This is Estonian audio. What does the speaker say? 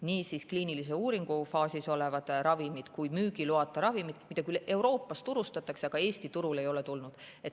Need on nii kliiniliste uuringute faasis olevad ravimid kui müügiloata ravimid, mida Euroopas turustatakse, aga mis Eesti turule ei ole tulnud.